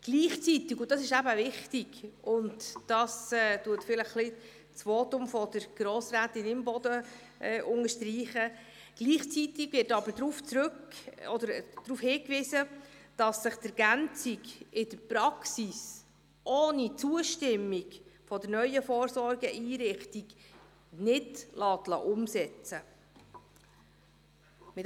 Gleichzeitig – das ist eben wichtig und unterstreicht auch das Votum von Grossrätin Imboden – wird darauf hingewiesen, dass sich die Ergänzung in der Praxis ohne Zustimmung der neuen Vorsorgeeinrichtung nicht umsetzen lässt.